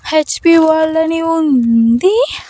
H P world అని ఉంది.